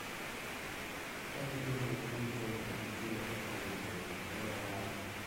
"Ka gidwani wapuonj to nyaka gichulwa kaka owinjore." Ne owacho.